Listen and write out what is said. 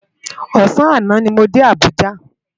Òsàn àná ni mó dé Abuja